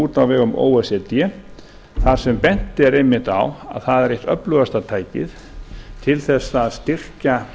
út á vegum o e c d þar sem bent er einmitt á að það er eitt öflugasta tækið til þess að styrkja